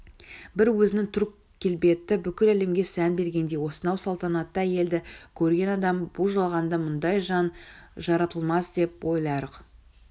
бір өзінің түр-келбеті бүкіл әлемге сән бергендей осынау салтанатты әйелді көрген адам бұ жалғанда мұндай жан жаратылмасдеп ойларлық